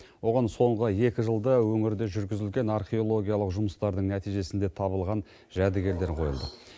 оған соңғы екі жылда өңірде жүргізілген археологиялық жұмыстардың нәтижесінде табылған жәдігерлер қойылды